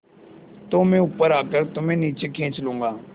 तो मैं ऊपर आकर तुम्हें नीचे खींच लूँगा